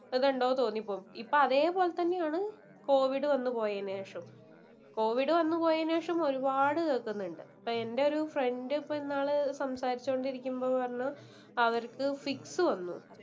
ഇത് ഉണ്ടോന്ന് തോന്നു പോവും. ഇപ്പം അതേ പോലെ തന്നെയാണ് കോവിഡ് വന്നു പോയതിനു ശേഷം. കോവിഡ് വന്നു പോയതിനു ശേഷം ഒരുപാട് കേക്കുന്നുണ്ട്. ഇപ്പൊ എന്റെ ഒരു ഫ്രണ്ട് ഇപ്പൊ ഇന്നാള് സംസാരിച്ചു കൊണ്ടിരിക്കുമ്പം പറഞ്ഞു. അവർക്ക് ഫിക്സ് വന്നു.